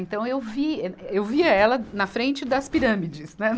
Então, eu vi, eh, eu via ela na frente das pirâmides, né.